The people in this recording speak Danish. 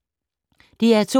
DR2